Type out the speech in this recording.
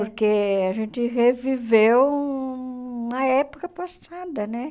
Porque a gente reviveu uma época passada, né?